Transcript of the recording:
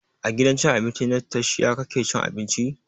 A gidan cin abinci na tastia kake cin abinci?